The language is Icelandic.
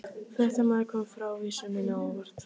Fréttamaður: Kom frávísunin á óvart?